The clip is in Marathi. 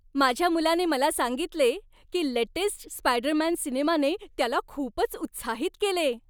माझ्या मुलाने मला सांगितले की लेटेस्ट स्पायडरमॅन सिनेमाने त्याला खूपच उत्साहित केले.